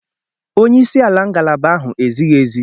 Onye isi ala ngalaba ahụ ezighi ezi.